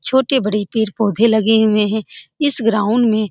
छोटे-बड़े पेड़-पौधे लगे हुए हैं इस ग्राउंड में।